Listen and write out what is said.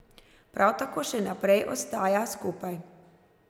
Par tako še naprej ostaja skupaj.